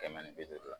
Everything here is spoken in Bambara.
Kɛmɛ ni bi duuru